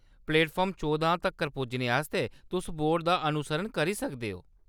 Platform चौह्दां तक्कर पुज्जने आस्तै तुस बोर्डें दा अनुसरण करी सकदे ओ।